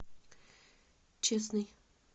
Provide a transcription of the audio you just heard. честный